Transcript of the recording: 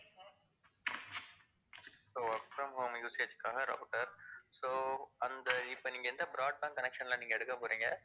so work from home usage காக routerso அந்த இப்ப நீங்க எந்த broadband connection ல நீங்க எடுக்க போறீங்க?